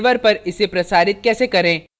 server पर इसे प्रसारित कैसे करें